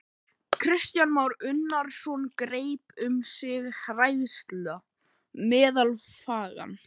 Kristján Már Unnarsson: Greip um sig hræðsla meðal fanga?